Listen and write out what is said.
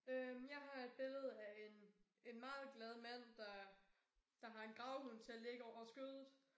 Øh jeg har et billede af en en meget glad mand der der har en gravhund til at ligge over skødet